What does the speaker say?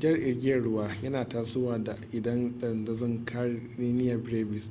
jar igiyar ruwa yan tasowa idan dandazon karenia brevis